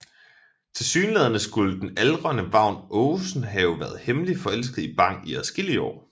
Tilsyneladende skulle den aldrende Vagn Aagesen have været hemmeligt forelsket i Bang i adskillige år